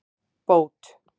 Bót